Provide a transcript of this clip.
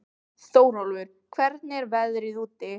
Þórólfur, hvernig er veðrið úti?